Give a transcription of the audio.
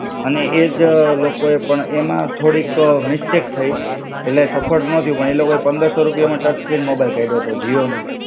અને એજ લોકોએ પણ એમાં થોડીક અ મિસ્ટેક થઇ, એટલે સફળ ન થયું પણ લોકોએ પંદર સો રૂપિયામાં ટચ સ્ક્રીન મોબાઈલ કાઢ્યો તો જીઓ નો.